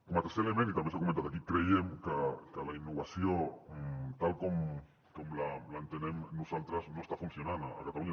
com a tercer element i també s’ha comentat aquí creiem que la innovació tal com l’entenem nosaltres no està funcionant a catalunya